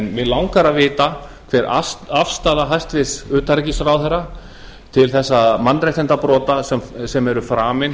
mig langar að vita hver afstaða hæstvirts utanríkisráðherra til þessara mannréttindabrota sem eru framin